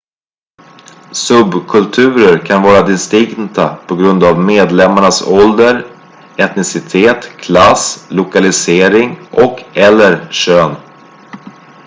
subkulturer kan vara distinkta på grund av medlemmarnas ålder etnicitet klass lokalisering och/eller kön